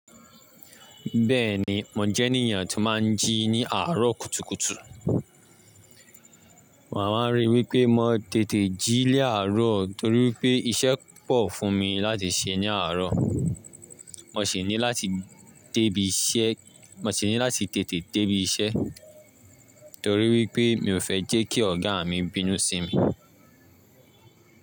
Bẹ́ẹ̀ni, mo jẹ́ ènìyàn tó máa ń jí ní àárọ̀ kùtùkùtù. Màá wa rí i wí pé mo tètè jí ni àárọ̀ torí pé iṣẹ́ pọ̀ fún mi láti ṣe ní àárọ̀. Mo sì ní láti tètè dé ibi iṣẹ́ torí wípé mi ò fẹ́ jẹ́ kí ọ̀gá mi bínú sí mi.